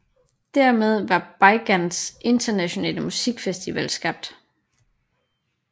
Dermed var Beigangs Internationale Musikfestival skabt